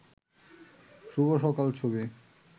শুভ সকাল ছবি